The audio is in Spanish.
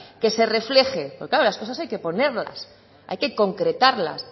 que se refleje claro las cosas hay que ponerlas hay que concretarlas